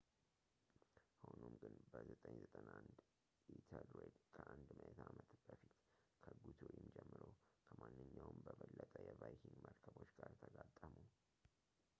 ሆኖም ግን በ 991 ኢተልሬድ ከአንድ ምዕተ ዓመት በፊት ከጉቱሪም ጀምሮ ከማንኛውም በበለጠ የቫይኪንግ መርከቦች ጋር ተጋጠሙ